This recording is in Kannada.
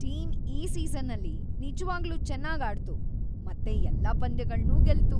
ಟೀಮ್ ಈ ಸೀಸನಲ್ಲಿ ನಿಜ್ವಾಗ್ಲೂ ಚೆನ್ನಾಗ್‌ ಆಡ್ತು ಮತ್ತೆ ಎಲ್ಲಾ ಪಂದ್ಯಗಳ್ನೂ ಗೆಲ್ತು.